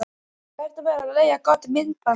Hvernig væri að leigja gott myndband?